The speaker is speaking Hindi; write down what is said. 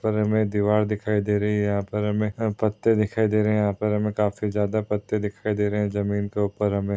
पर हमें दिवार दिखाई दे रही है यहाँ पर हमें पत्ते दिखाई दे रहे है यहाँ पर हमें काफी ज्यादा पत्ते दिखाउ दे रहे हैं जमीन के उपर हमें--